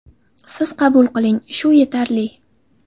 Siz qabul qiling, shu yetarli.